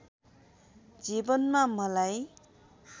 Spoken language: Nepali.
जीवनमा मलाई